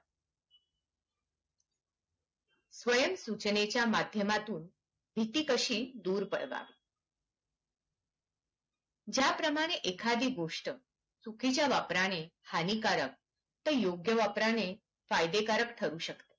स्वयम सूचनेच्या माध्यमातून भीती कशी दूर पळवाल ज्या प्रमाणे एखादी गोस्ट चुकीच्या वापरणे हानिकारक आणि योग्य वापरणे फायदेकारक ठरू शकते